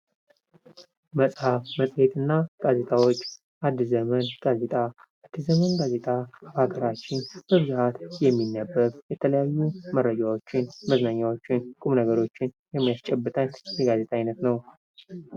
መፅሐፍ መፅሄት እና ጋዜጦች አዲስ ዘመን: ጋዜጣ አዲስ ዘመን ጋዜጣ በሀገራችን በብዛት የሚነበብ የተለያዩ መረጃዎችን መዝናኛዎችን ቁም ነገሮችን የሚያስቸብተን የጋዜጣ አይነት ነው::